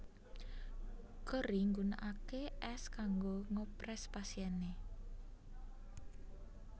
Gorrie nggunakake es kanggo ngopres pasiene